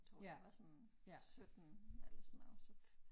Tror jeg var sådan 17 eller sådan noget så